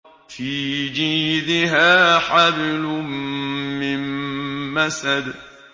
فِي جِيدِهَا حَبْلٌ مِّن مَّسَدٍ